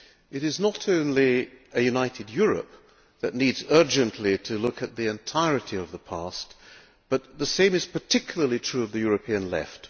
It is not only a united Europe that needs urgently to look at the entirety of the past, but the same is particularly true of the European Left.